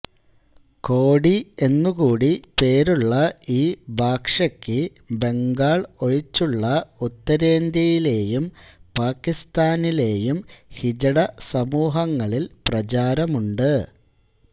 കോടി എന്നു കൂടി പേരുള്ള ഈ ഭാഷയ്ക്ക് ബംഗാൾ ഒഴിച്ചുള്ള ഉത്തരേന്ത്യയിലേയും പാകിസ്താനിലേയും ഹിജഡ സമൂഹങ്ങളിൽ പ്രചാരമുണ്ട്